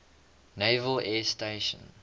naval air station